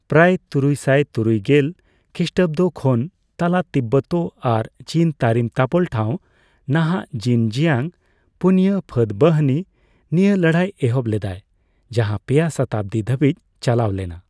ᱯᱨᱟᱭ ᱛᱩᱨᱩᱭᱥᱟᱭ ᱛᱩᱨᱭᱜᱮᱞ ᱠᱷᱤᱥᱴᱟᱵᱫᱚ ᱠᱷᱚᱱ ᱛᱟᱞᱟ ᱛᱤᱵᱵᱚᱛ ᱟᱨ ᱪᱤᱱ ᱛᱟᱨᱤᱢ ᱛᱟᱯᱚᱞ ᱴᱷᱟᱣ (ᱱᱟᱦᱟᱜ ᱡᱤᱱᱡᱤᱭᱟᱝ) 'ᱯᱩᱱᱭᱟ ᱯᱷᱟᱹᱫᱵᱟᱦᱤᱱᱤ' ᱱᱤᱭᱟᱹ ᱞᱟᱹᱲᱦᱟᱹᱭ ᱮᱦᱚᱵ ᱞᱮᱫᱟᱭ, ᱡᱟᱦᱟᱸ ᱯᱮᱭᱟ ᱥᱚᱛᱟᱵᱫᱤ ᱫᱷᱟᱹᱵᱤᱡ ᱪᱟᱞᱟᱣ ᱞᱮᱱᱟ ᱾